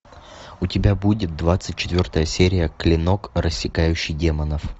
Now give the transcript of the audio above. у тебя будет двадцать четвертая серия клинок рассекающий демонов